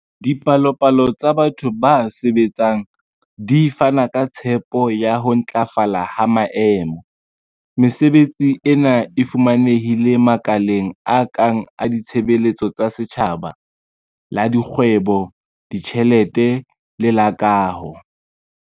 Dipalopalo tsa batho ba sebetsang di fana ka tshepo ya ho ntlafala ha maemo. Mesebetsi ena e fumanehile makaleng a kang la ditshebeletso tsa setjhaba, la dikgwebo, ditjhelete le la kaho.